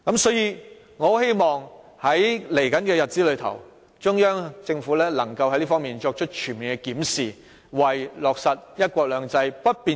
所以，我希望在未來的日子，中央政府能在這方面作出全面檢視，為確保"一國兩制"不變形做好工作。